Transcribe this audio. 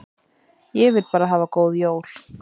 Ég vil bara hafa góð jól.